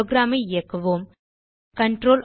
program ஐ இயக்குவோம்